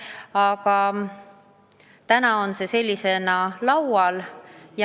Aga täna on eelnõu sellisena laual.